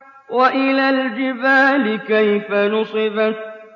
وَإِلَى الْجِبَالِ كَيْفَ نُصِبَتْ